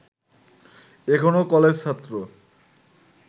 এখনো কলেজছাত্র